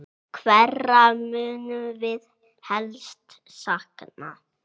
Hverra munum við helst sakna?